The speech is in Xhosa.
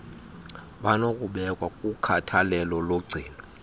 banokubekwa kukhathalelo logcino